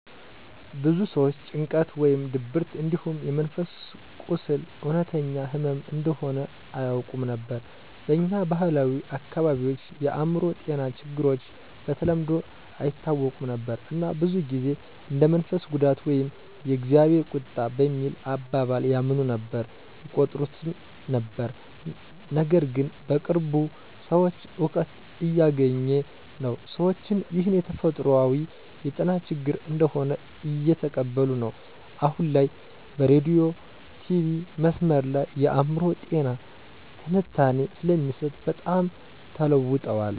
ብዙ ሰዎች ጭንቀት ወይም ድብርት እንዲሁም የመንፈስ ቁስል እውነተኛ ህመም እንደሆነ አያውቁም ነበር። በኛ ባህላዊ አካባቢዎች የአእምሮ ጤና ችግሮች በተለምዶ አይታወቁም ነበር እና ብዙ ጊዜ እንደ የመንፈስ ጉዳት ወይም የ"እግዜር ቁጣ" በሚል አባባል ያምኑ ነበር/ይቆጥሩት ነበር። ነገርግን በቅርቡ ሰዉ እውቀት እያገኘ ነው፣ ሰዎችም ይህን የተፈጥሯዊ የጤና ችግር እንደሆነ እየተቀበሉ ነዉ። አሁን ላይ በሬዲዮ/ቲቪ/መስመር ላይ የአእምሮ ጤና ትንታኔ ስለሚሰጥ በጣም ተለዉጠዋል።